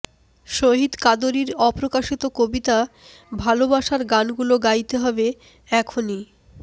শহীদ কাদরীর অপ্রকাশিত কবিতা ভালোবাসার গানগুলো গাইতে হবে এখনই